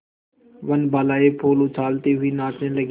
वनबालाएँ फूल उछालती हुई नाचने लगी